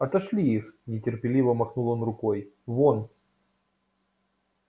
отошли их нетерпеливо махнул он рукой вон